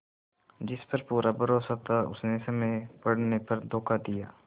जिस पर पूरा भरोसा था उसने समय पड़ने पर धोखा दिया